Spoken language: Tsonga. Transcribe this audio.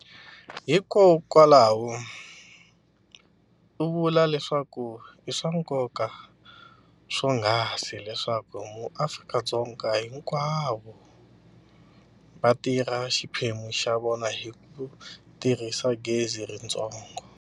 Hiko kwalaho, u vule leswaku i swa nkoka swonghasi leswaku ma Afrika-Dzonga hinkwavo va tirha xiphemu xa vona hi ku tirhisa gezi ritsongo.